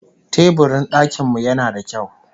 Teburin dakin mu yana da kyau